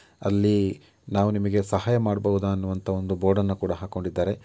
ಅಲ್ಲಿ ನಾವು ನಿಮಗೆ ಸಹಾಯ ಮಾಡಬಹುದ ಅನ್ನುವಂತ ಒಂದು ಬೋರ್ಡನ್ನು ಕೂಡ ಹಾಕೊಂಡಿದ್ದಾರೆ.